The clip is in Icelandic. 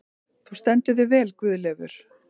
Þú stendur þig vel, Guðleifur!